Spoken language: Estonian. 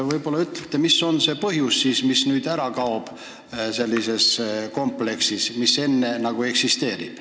Võib-olla ütlete, mis on see põhjus, mis nüüd sellises kompleksis ära kaob?